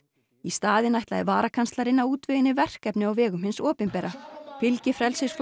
í staðinn ætlaði varakanslarinn að útvega henni verkefni á vegum hins opinbera fylgi